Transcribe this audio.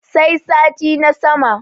sai sati na sama